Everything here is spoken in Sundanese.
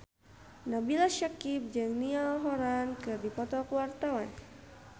Nabila Syakieb jeung Niall Horran keur dipoto ku wartawan